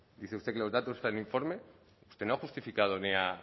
dice usted que los datos están en el informe que no ha justificado ni ha